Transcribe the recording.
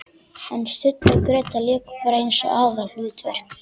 En Stulli og Gréta léku bara eins og aðalhlutverk!